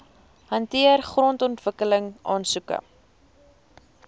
hanteer grondontwikkeling aansoeke